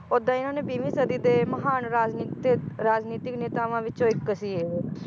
ਓਦਾਂ ਇਹਨਾਂ ਨੇ ਬੀਵੀਂ ਸਦੀ ਦੇ ਮਹਾਨ ਰਾਜਨੀਤੀ ਰਾਜਨੀਤਿਕ ਨੇਤਾਵਾਂ ਵਿੱਚੋ ਇੱਕ ਸੀ ਇਹ